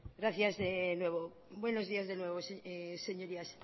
gracias de nuevo buenos días de nuevo señorías